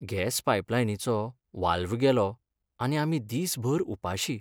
Gas पायपलायनीचो valve गेलो आनी आमी दीसभर उपाशीं.